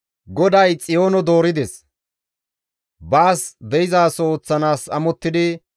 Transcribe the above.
GODAY Xiyoono doorides; baas de7izaso ooththanaas amottidi,